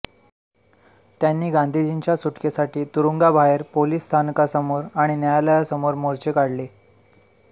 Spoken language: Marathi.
त्यांनी गांधीजींच्या सुटकेसाठी तुरूंगाबाहेर पोलिस स्थानकासमोर आणि न्यायालयासमोर मोर्चे काढले